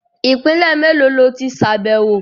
Ìpínlè mélòó lo tí ṣàbẹ̀wọ̀?